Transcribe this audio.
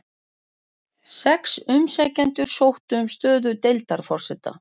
Sex umsækjendur sóttu um stöðu deildarforseta